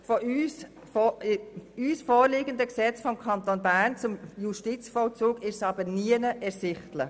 Aber in dem uns vorliegenden Gesetz des Kantons Bern zum Justizvollzug ist es nirgends ersichtlich.